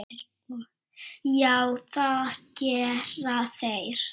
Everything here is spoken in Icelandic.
Já, það gera þeir.